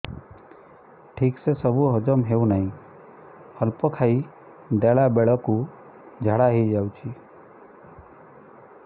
ଠିକସେ ସବୁ ହଜମ ହଉନାହିଁ ଅଳ୍ପ ଖାଇ ଦେଲା ବେଳ କୁ ଝାଡା ହେଇଯାଉଛି